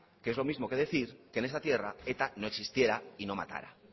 que es lo mismo que decir que en esta tierra eta no existiera y no matara